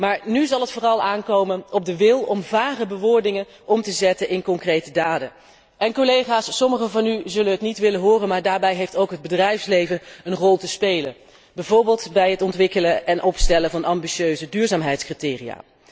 Maar nu zal het vooral aankomen op de wil om vage bewoordingen om te zetten in concrete daden. En, collega's, sommigen van u zullen het niet willen horen, maar daarbij heeft ook het bedrijfsleven een rol te spelen, bijvoorbeeld bij het ontwikkelen en opstellen van ambitieuze duurzaamheidscriteria.